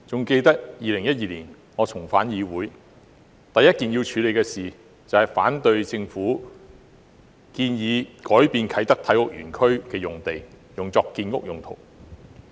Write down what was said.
記得我在2012年重返議會時，第一項要處理的議題，就是反對政府建議將啟德體育園區用地改作建屋用途。